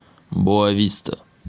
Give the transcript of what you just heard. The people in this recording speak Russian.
боа виста